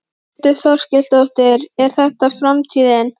Þórhildur Þorkelsdóttir: Er þetta framtíðin?